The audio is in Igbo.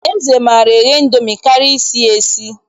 Eze maara eghe Indomi karịa isi ya esi.